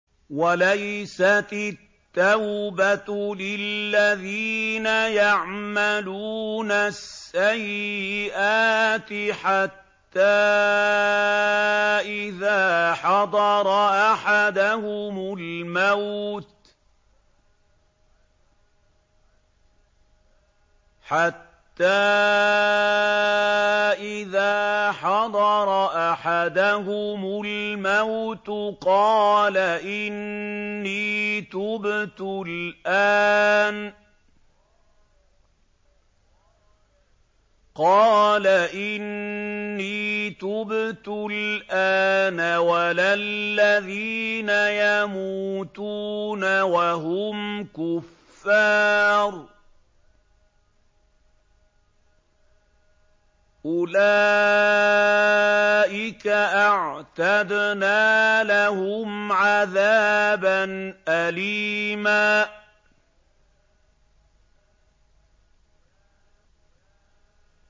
وَلَيْسَتِ التَّوْبَةُ لِلَّذِينَ يَعْمَلُونَ السَّيِّئَاتِ حَتَّىٰ إِذَا حَضَرَ أَحَدَهُمُ الْمَوْتُ قَالَ إِنِّي تُبْتُ الْآنَ وَلَا الَّذِينَ يَمُوتُونَ وَهُمْ كُفَّارٌ ۚ أُولَٰئِكَ أَعْتَدْنَا لَهُمْ عَذَابًا أَلِيمًا